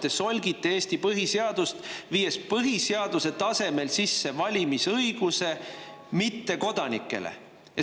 Te solgite Eesti põhiseadust, viies põhiseaduse tasemel sisse mittekodanike valimisõiguse.